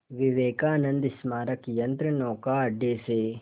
विवेकानंद स्मारक यंत्रनौका अड्डे से